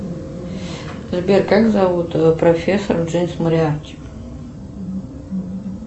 сбер как зовут профессор джеймс мориарти